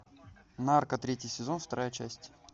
нарко третий сезон вторая часть